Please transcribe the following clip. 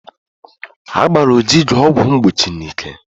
Agbara Ojiugo ọgwụ mgbochi n'ike.